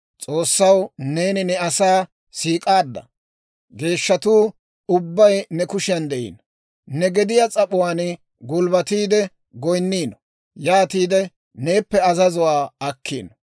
S'oossaw neeni ne asaa siik'aadda. Geeshshatuu ubbay ne kushiyan de'iino; ne gediyaa s'ap'uwaan gulbbatiide goyinniino; yaatiide neeppe azazuwaa akkiino.